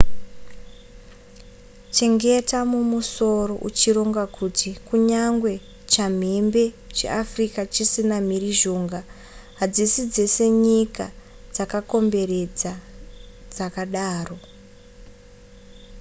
chengeta mumusoro uchironga kuti kunyangwe chamhembe cheafrica chisina mhirizhonga hadzisi dzese nyika dzakakomberedza dzakadaro